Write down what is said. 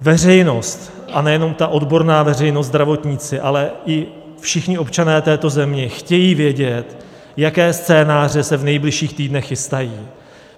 Veřejnost, a nejenom ta odborná veřejnost, zdravotníci, ale i všichni občané této země chtějí vědět, jaké scénáře se v nejbližších týdnech chystají.